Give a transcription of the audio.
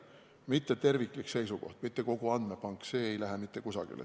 Mitte terviklik seisukoht, mitte kogu andmepank, see ei lähe mitte kusagile.